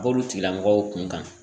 B'olu tigilamɔgɔw kun kan